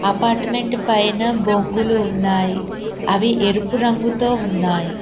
Apartment పైన బొంగులు ఉన్నాయి అవి ఎరుపు రంగుతో ఉన్నాయి.